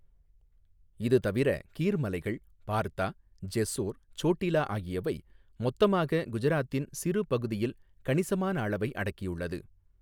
இது தவிர கீர் மலைகள், பார்தா, ஜெஸ்ஸோர், சோட்டிலா ஆகியவை மொத்தமாக குஜராத்தின் சிறு பகுதியில் கணிசமான அளவை அடக்கியுள்ளது.